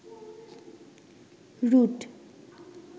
root